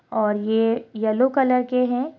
और ये yellow colour के हैं।